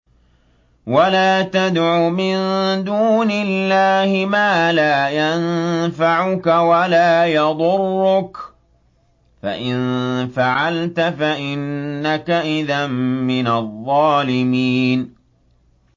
وَلَا تَدْعُ مِن دُونِ اللَّهِ مَا لَا يَنفَعُكَ وَلَا يَضُرُّكَ ۖ فَإِن فَعَلْتَ فَإِنَّكَ إِذًا مِّنَ الظَّالِمِينَ